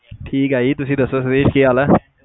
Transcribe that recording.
ਠੀਕ ਆ ਜੀ ਤੁਸੀਂ ਦੱਸੋ ਸੁਰੇਸ ਕੀ ਹਾਲ ਆ